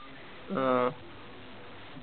അഹ്